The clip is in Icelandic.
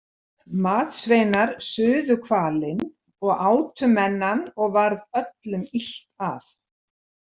Matsveinar suðu hvalinn og átu menn hann og varð öllum illt af.